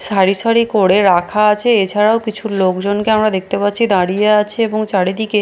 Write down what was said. সারি সারি করে রাখা আছে এছাড়াও কিছু লোকজনকে আমরা দেখতে পাচ্ছি দাঁড়িয়ে আছে এবং চারিদিকে--